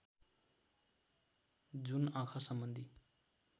जुन आँखा सम्बन्धी